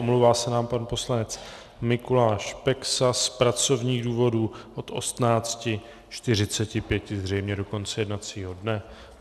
Omlouvá se nám pan poslanec Mikuláš Peksa z pracovních důvodů od 18.45 zřejmě do konce jednacího dne.